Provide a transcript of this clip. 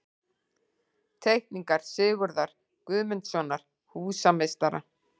Teikningar Sigurðar Guðmundssonar, húsameistara.